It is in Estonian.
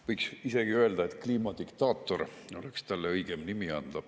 Võiks isegi öelda, et kliimadiktaator oleks talle õigem nimi.